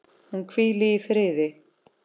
Hún hvíli í friði.